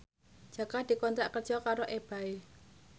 Jaka dikontrak kerja karo Ebay